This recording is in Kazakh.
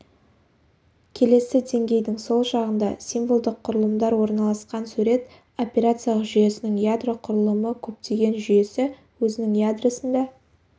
келесі деңгейдің сол жағында символдық құрылымдар орналасқан сурет операциялық жүйесінің ядро құрылымы көптеген жүйесі өзінің ядросында